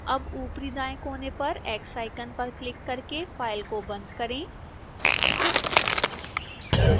अब ऊपरी दाएं कोने पर x icon पर क्लिक करके file को बंद करें